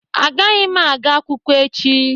Agaghị m aga akwụkwọ echi.